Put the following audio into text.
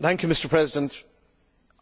Mr President,